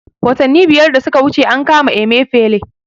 Watanni biyar da suka wuce an kama Emefele